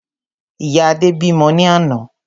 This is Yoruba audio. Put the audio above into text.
Ìyá Adé bímọ ní àná